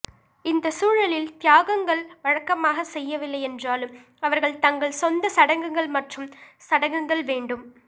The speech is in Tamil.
இந்த சூழலில் தியாகங்கள் வழக்கமாக செய்யவில்லை என்றாலும் அவர்கள் தங்கள் சொந்த சடங்குகள் மற்றும் சடங்குகள் வேண்டும்